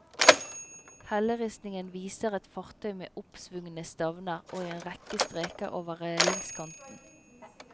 Helleristningen viser et fartøy med oppsvungne stavner og en rekke streker over relingskanten.